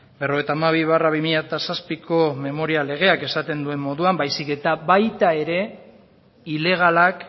berrogeita hamabi barra bi mila zazpiko memoria legeak esaten duen moduan baizik eta baita ere ilegalak